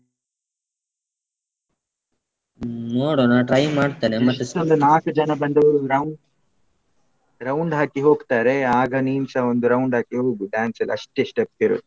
ಹೆಚ್ಚಂದ್ರೆ ನಾಕ್ ಜನ ಬಂದ್ರೆ ಒಂದ್ round round ಹಾಕಿ ಹೋಗ್ತಾರೆ ಆಗ ನೀನ್ಸ. ಒಂದ್ round ಹಾಕಿ ಹೋಗು dance ಅಲ್ಲಿ ಅಷ್ಟೆ step ಇರುದು.